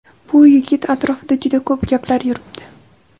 Bu yigit atrofida juda ko‘p gaplar yuribdi.